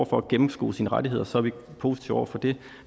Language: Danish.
for at gennemskue sine rettigheder så er vi positive over for det